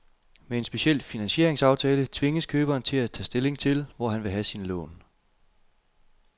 Med en speciel finansieringsaftale tvinges køberen til at tage stilling til, hvor han vil have sine lån.